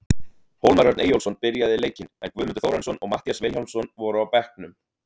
Hólmar Örn Eyjólfsson byrjaði leikinn, en Guðmundur Þórarinsson og Matthías Vilhjálmsson voru á bekknum.